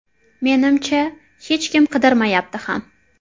Menimcha, hech kim qidirmayapti ham.